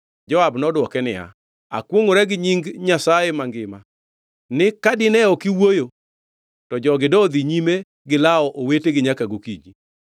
Joab nodwoke niya, “Akwongʼora gi nying Nyasaye mangima, ni ka dine ok iwuoyo, to jogi dodhi nyime gi lawo owetegi nyaka gokinyi.”